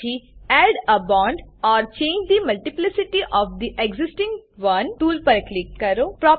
પછી add a bond or change the multiplicity of the existing one tool પર click કરો